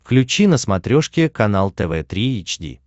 включи на смотрешке канал тв три эйч ди